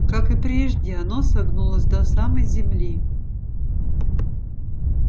как и прежде оно согнулось до самой земли